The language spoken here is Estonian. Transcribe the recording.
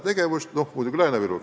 Ja, vabandust, muidugi ka Lääne-Viru.